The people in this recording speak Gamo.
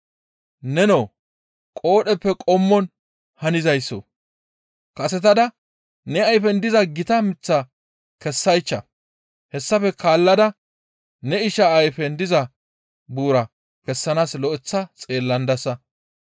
Nenoo qoodheppe qommon hanizaysso kasetada ne ayfen diza gita miththaa kessaycha. Hessafe guye ne isha ayfen diza buuraa kessanaas lo7eththa xeellandassa.